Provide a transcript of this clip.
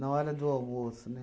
na hora do almoço, né?